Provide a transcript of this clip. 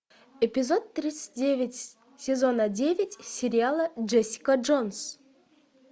эпизод тридцать девять сезона девять сериала джессика джонс